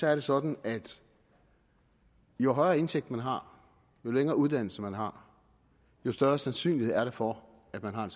er det sådan at jo højere indtægt man har jo længere uddannelse man har jo større sandsynlighed er der for at man har en